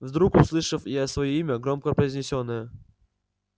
вдруг услышав я своё имя громко произнесённое